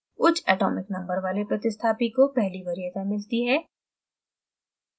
उच्च atomic number वाले प्रतिस्थापी को पहली वरीयता मिलती है